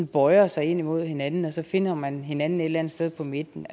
bøjer sig ind mod hinanden og så finder man hinanden et eller andet sted på midten